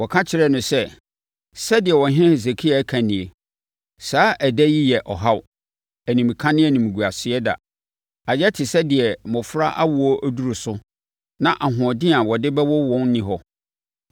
Wɔka kyerɛɛ no sɛ, “Sɛdeɛ ɔhene Hesekia ka nie: Saa ɛda yi yɛ ɔhaw, animka ne animguaseɛ da. Ayɛ te sɛ deɛ mmɔfra awoɔ duru so na ahoɔden a wɔde bɛwo wɔn nni hɔ.